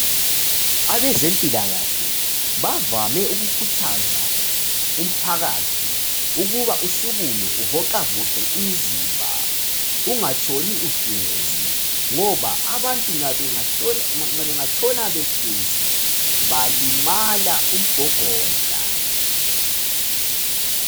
Abezempilakahle bavame ukukhuthaza umphakathi ukuba usukume, uvoxavoxe umzimba. Ungatshoni uhlezi, ngoba abantu bangatshona behlezi Balimaha umgogodla.